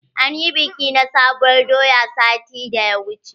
An ƴi biki na sabuwar doya sati da ya wuche.